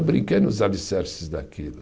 Eu brinquei nos alicerces daquilo.